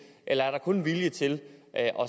eller er der kun vilje til at